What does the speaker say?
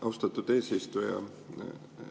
Austatud eesistuja!